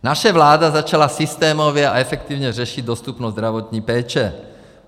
Naše vláda začala systémově a efektivně řešit dostupnost zdravotní péče.